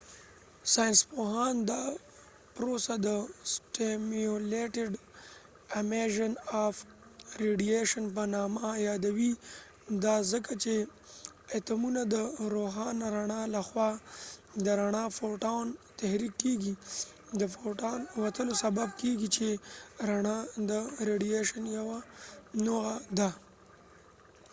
ساینسپوهان دا پروسه د سټیمیولیټډ امیژن اف ریډیشن په نامه یادوي ، دا ځکه چې اتومونه د روښانه رڼا له خوا تحریک کېږی د فوټون photonد رڼا د وتلو سبب کېږی چې رڼا د ریډیشن یو نوعه ده